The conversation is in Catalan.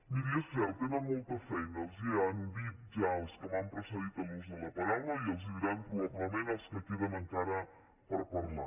miri és cert tenen molta feina els ho han dit ja els que m’han precedit en l’ús de la paraula i els ho diran probablement els que queden encara per parlar